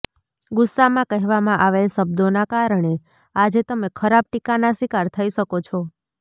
ગુસ્સામાં કહેવામાં આવેલ શબ્દોના કારણે આજે તમે ખરાબ ટીકાના શિકાર થઇ શકો છો